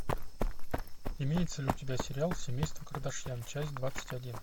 имеется ли у тебя сериал семейство кардашьян часть двадцать один